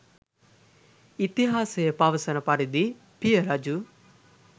ඉතිහාසය පවසන පරිදි පිය රජු